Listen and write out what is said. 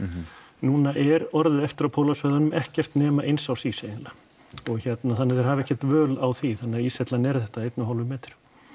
núna er orðið eftir á pólasvæðunum ekkert nema eins árs ís eiginlega og hérna þannig að þeir hafa ekkert völ á því þannig að íshellan er þetta einn og hálfur metri